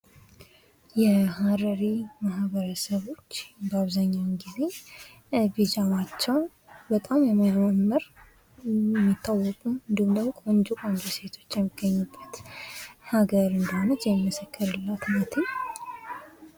የሀረሪ ማህበረሰቦች አብዛኛውን ጊዜ ቢጃማቸው በጣም የሚያማምር እንዲሁም ደግሞ ቆንጆ ቆንጆ ሴቶች የሚገኙበት ሀገር ናት።